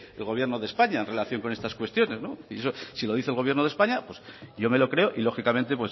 que gobierno de españa en relación con estas cuestiones si lo dice el gobierno de españa yo me lo creo y lógicamente